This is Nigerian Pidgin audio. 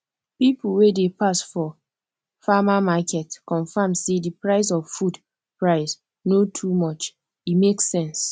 people wey dey pass for farmer market confirm say the price of food price no too much e make sense